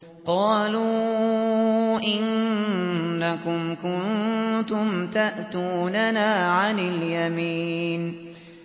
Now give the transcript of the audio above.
قَالُوا إِنَّكُمْ كُنتُمْ تَأْتُونَنَا عَنِ الْيَمِينِ